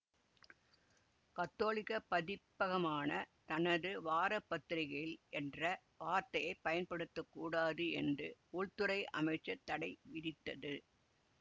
கத்தோலிக்க பதிப்பகமான தனது வார பத்திரிக்கையில் என்ற வார்த்தையை பயன்படுத்த கூடாது என்று உள்துறை அமைச்சு தடை விதித்தது